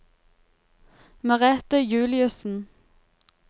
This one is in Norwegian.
Merete Juliussen